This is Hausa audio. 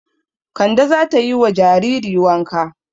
Kande za ta yi wa jariri wanka.